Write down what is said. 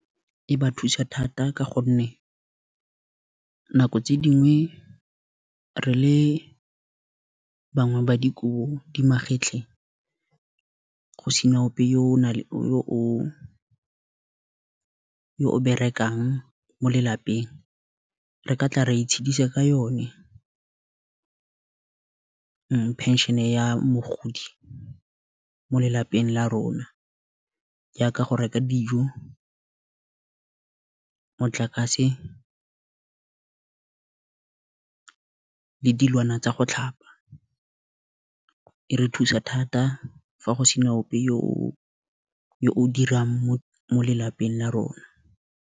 E ba thusa thata ka gonne nako, tse dingwe re le bangwe ba dikobo di magetleng, go sena ope yo o berekang mo lelapeng, re katla ra itshedisa ka yone pension-e ya mogodi mo mo lelapeng, la rona. Jaaka go reka dijo, motlakase, le dilwana tsa go tlhapa, e re thusa thata fa go se na ope yo o o dirang mo lelapeng la rona.